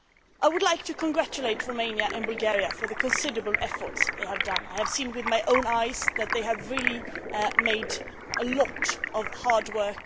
I would like to congratulate Romania and Bulgaria on the considerable efforts they have made. I have seen with my own eyes that they have done a lot of hard work.